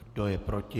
Kdo je proti?